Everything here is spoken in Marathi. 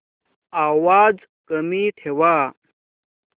आवाज कमी ठेवा